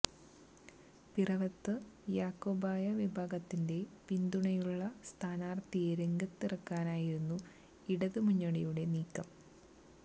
പിറവത്ത് യാക്കോബായ വിഭാഗത്തിന്റെ പിന്തുണയുള്ള സ്ഥാനാർത്ഥിയെ രംഗത്തിറക്കാനായിരുന്നു ഇടതു മുന്നണിയുടെ നീക്കം